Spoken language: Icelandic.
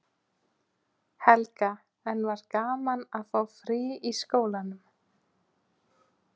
Helga: En var gaman að fá frí í skólanum?